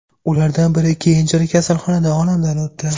Ulardan biri keyinchalik kasalxonada olamdan o‘tdi.